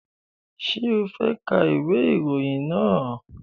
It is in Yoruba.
Ṣé o fẹ́ ka ìwé ìròyìn náà?